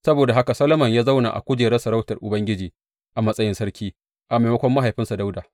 Saboda haka Solomon ya zauna a kujerar sarautar Ubangiji a matsayin sarki a maimakon mahaifinsa Dawuda.